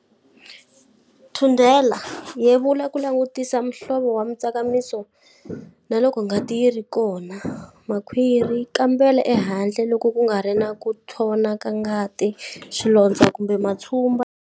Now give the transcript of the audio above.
Thundela-Yevula ku langutisa muhlovo wa mitsakamiso na loko ngati yi ri kona. Makhwiri-Kambela ehandle loko ku nga ri na ku nthona ka ngati, swilondzo kumbe matshumba.